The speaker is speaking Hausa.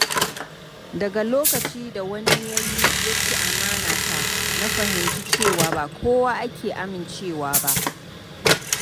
Daga lokacin da wani ya ci amana ta na fahimci cewa ba kowa ake amincewa ba.